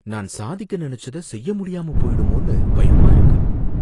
நான் சாதிக்க நெனச்சத செய்ய முடியாம போயிடுமோனு பயமா இருக்கு.